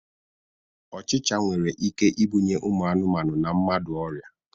Ochịcha nwere ike ibunye ụmụ anụmanụ na mmadụ ọrịa.